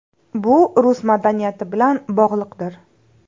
Bu rus madaniyati bilan bog‘liqdir.